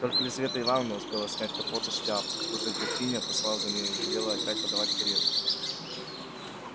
только лизавета ивановна успела снять капот и шляпу как уже графиня послала за нею и велела опять подавать карету